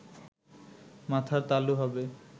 মাথার তালু হবে